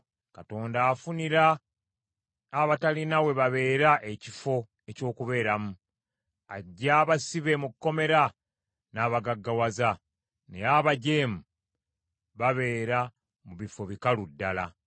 Katonda afunira abatalina we babeera ekifo eky’okubeeramu, aggya abasibe mu kkomera n’abagaggawaza; naye abajeemu babeera mu bifo bikalu ddala.